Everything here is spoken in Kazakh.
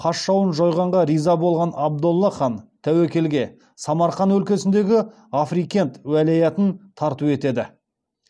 қас жауын жойғанға риза болған абдолла хан тәуекелге самарқан өлкесіндегі африкент уәлаятын тарту етеді